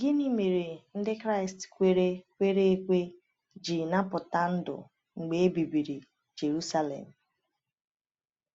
Gịnị mere Ndị Kraịst kwere kwere ekwe ji napụta ndụ mgbe e bibiri Jerusalem?